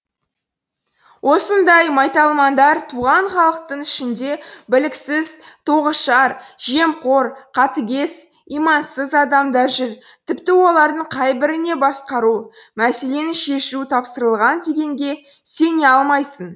осындай майталмандар туған халықтың ішінде біліксіз тоғышар жемқор қатыгез имансыз адамдар жүр тіпті олардың қайбіріне басқару мәселені шешу тапсырылған дегенге сене алмайсың